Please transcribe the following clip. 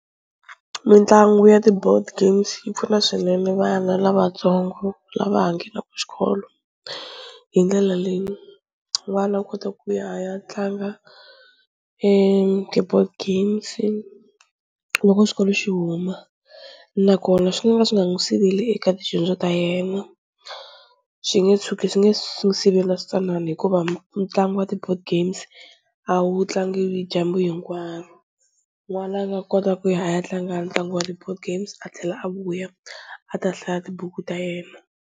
Mitlangu ya ti-board games yi pfuna swinene vana lavatsongo lava ha nghenaku xikolo hi ndlela leyi n'wana u kota ku ya a ya tlanga ti-board games loko xikolo xi huma nakona swi nga ka swi nga n'wi siveli eka tidyondzo ta yena, xi nge tshuki swi nge zi swi n'wu sivela swintsanana hikuva ntlangu wa ti-board games a wu tlangiwi hi dyambu hinkwaro, n'wana a nga kota ku ya a ya tlanga ntlangu wa ti-board games a tlhela a vuya a ta hlaya tibuku ta yena.